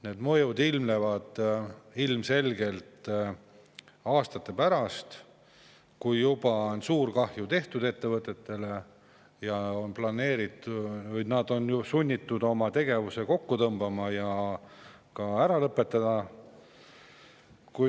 Need mõjud ilmnevad ilmselgelt aastate pärast, kui suur kahju ettevõtetele on juba tehtud ning ettevõtjad on sunnitud oma tegevuse kokku tõmbama või üldse ära lõpetama.